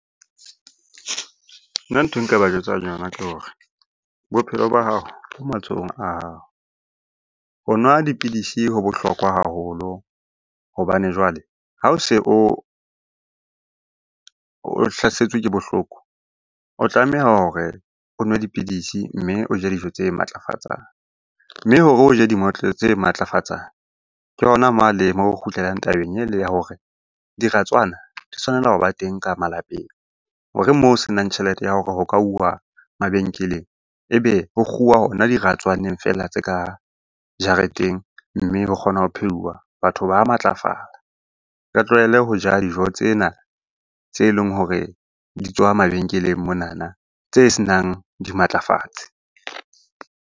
Nna nthwe nka ba jwetsang yona, ke hore bophelo ba hao bo matsohong a hao. Ho nwa dipidisi ho bohlokwa haholo hobane jwale ha o se o hlasetswe ke bohloko, o tlameha hore o nwe dipidisi mme o je dijo tse matlafatsang. Mme hore o je di tse matlafatsang, ke hona moo a le kgutlelang tabeng ele ya hore diratswana di tshwanela ho ba teng ka malapeng hore moo ho se nang tjhelete ya hore ho ka uwa mabenkeleng, e be ho kguwa hona diratswaneng fela tse ka jareteng, mme ho kgona ho pheuwa batho ba matlafala. Re tlohele ho ja dijo tsena tse leng hore di tswa mabenkeleng monana tse se nang dimatlafatsi.